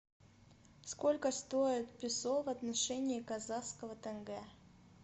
сколько стоит песо в отношении казахского тенге